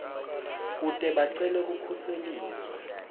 kute bacele kukhuseliswa